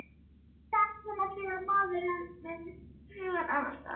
Það er svona þegar maður er með hugann annars staðar.